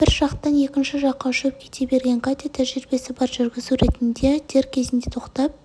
бір жақтан екінші жаққа ұшып кете берген катя тәжірибесі бар жүргізу ретінде дер кезінде тоқтап